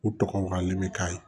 U tɔgɔ len bɛ k'a ye